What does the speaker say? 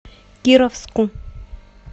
кировску